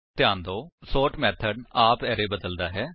ਧਿਆਨ ਦਿਓ ਕਿ ਸੋਰਟ ਮੇਥਡ ਆਪ ਅਰੇ ਬਦਲਦਾ ਹੈ